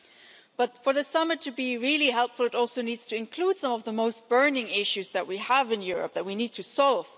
However, for the summit to be really helpful, it also needs to include some of the most burning issues that we have in Europe, that we need to solve.